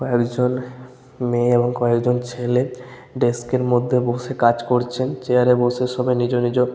কয়েকজন মেয়ে এবং কয়েকজন ছেলে ডেস্ক -এর মধ্যে বসে কাজ করছেন। চেয়ার -এ বসে সবাই নিজও নিজও--